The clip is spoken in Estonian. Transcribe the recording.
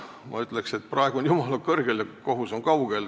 Ma ütleks, et praegu on jumal kõrgel ja kohus kaugel.